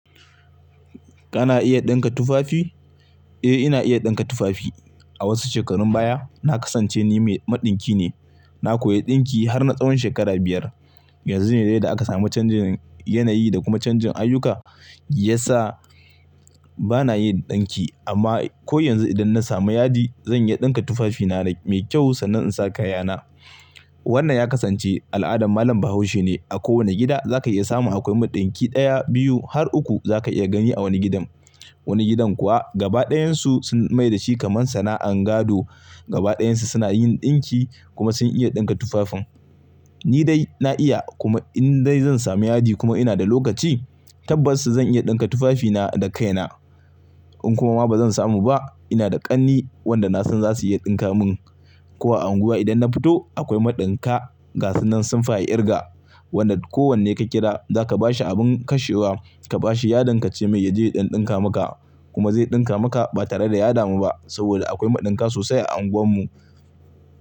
Kana iya ɗinka tufafi? Eh, ina iya ɗinka tufafi. A wasu shekarun baya na kasance ni mai maɗinki ne. Na koya ɗinki har na tsawon shekara biyar. Yanzu ne dai da aka samu canjin yanayi da kuma canjin ayyuka, ya sa ba na yin ɗinki. Amma ko yanzu idan na samu yadi zan iya ɗinka tufafi na mai kyau sannan in sa kaya na. Wannan ya kasance al'adar malam Bahaushe ne. A kowane gida za ka iya samun akwai maɗinki ɗaya, biyu har uku za ka iya gani a wani gidan. Wani gidan kuwa gaba ɗayansu sun mai da shi kamar sana'an gado. Gaba ɗayansu suna yin ɗinki kuma sun iya ɗinka tufafin. Ni dai na iya kuma in dai zan samu yadi kuma ina da lokaci tabbas zan iya ɗinka tufafi na da kaina. In kuma ma ba zan samu ba, ina da ƙanni wanda na san za su iya ɗinka mun. Ko a unguwa idan na fito akwai maɗinka gasunan sun fi a ƙirga. Wanda kowanne ka kira za ka bashi abun kashewa, ka bashi yadin ka ce mai ya je ya ɗan ɗinka maka kuma zai ɗinka maka ba tare da ya damu ba saboda akwai maɗinka sosai a anguwar mu.